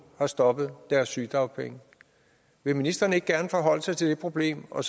har stoppet deres sygedagpenge vil ministeren ikke gerne forholde sig til det problem og